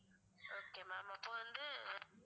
okay ma'am அப்ப வந்து